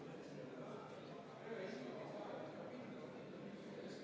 Ettepanek ei leidnud toetust ja teine lugemine on lõpetatud.